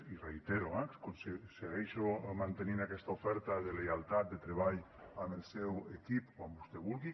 i ho reitero eh segueixo mantenint aquesta oferta de lleialtat de treball amb el seu equip quan vostè vulgui